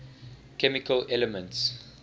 chemical elements